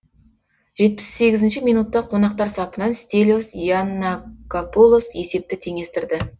жетпіс сегізінші минутта қонақтар сапынан стелиос яннакопулос есепті теңестірді